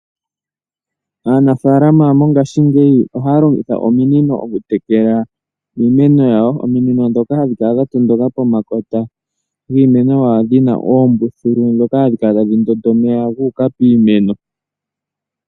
Aanafaalama mongashingeyi ohaya longitha ominino okutekela iimeno yawo, ominino dhoka hadhi kala dhatondoka pomakota giimeno yawo dhina ombuthulu dhoka hadhi kala tadhi ndotha dhuuka piimeno.